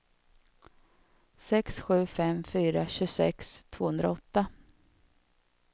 sex sju fem fyra tjugosex tvåhundraåtta